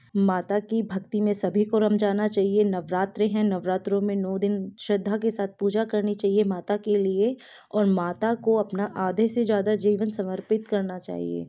माता की भक्ति में सभी को रंम जाना चाहिए। नवरात्री है नवरात्रों में नौ दिन श्रद्धा के साथ पूजा करनी चाहिए माता के लिए और माता को अपना आधे से ज्यादा जीवन समर्पित करना चाहिए।